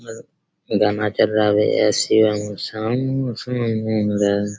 अअ drama चल रहा--